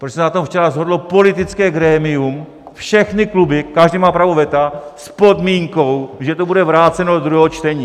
Protože se na tom včera shodlo politické grémium, všechny kluby, každý má právo veta, s podmínkou, že to bude vráceno do druhého čtení.